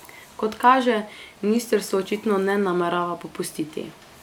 Kot kaže, ministrstvo očitno ne namerava popustiti.